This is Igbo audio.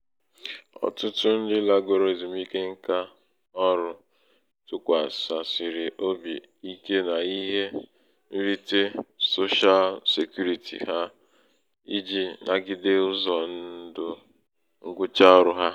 ọ̀tụtụ ndị lagoro èzum̀ike ṅkā ọrụ̄ tụkwàsàsịrị obì̀ ike n’ihe nrite soshal sèkurītì ha ijī nagide ụzọ̀ ndụ̀ ṅgwụcha ọrụ̄ hā.